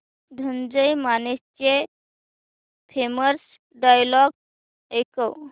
धनंजय मानेचे famous dialogue ऐकव